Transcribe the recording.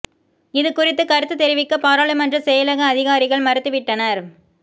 இதுகுறித்து கருத்து தெரிவிக்க பாராளுமன்ற செயலக அதிகாரிகள் மறுத்து விட்டனர்